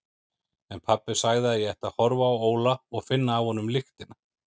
En pabbi sagði að ég ætti að horfa á Óla og finna af honum lyktina.